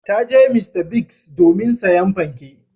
Ta je Mr. Biggs domin sayen fanke.